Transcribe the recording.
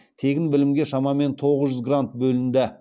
тегін білімге шамамен тоғыз жүз грант бөлінді